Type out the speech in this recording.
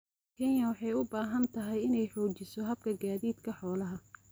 Kenya waxay u baahan tahay inay xoojiso habka gaadiidka xoolaha.